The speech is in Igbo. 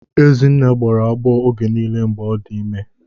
Ezinne gbọrọ agbọọ oge niile mgbe ọ dị ime.